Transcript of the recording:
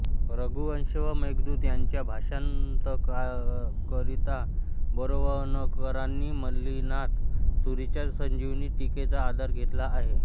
रघुवंश व मेघदूत ह्यांच्या भाषांतराकरिता बोरवणकरांनी मल्लिनाथ सूरीच्या संजीवनी टीकेचा आधार घेतला आहे